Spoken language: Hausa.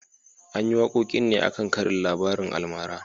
An yi wakokin ne a kan karin labarin almara